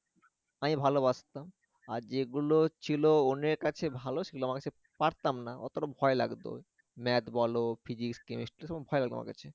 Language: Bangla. আমি ভালবাসতাম আর যেগুলো ছিল অনেক আছে ভালো ছিল অনেকে পারতাম না অতটা ভয় লাগতো math বল physics chemistry এগুলো ভয় লাগে আমার কাছে